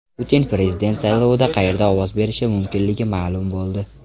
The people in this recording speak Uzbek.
Putin prezident saylovida qayerda ovoz berishi mumkinligi ma’lum bo‘ldi.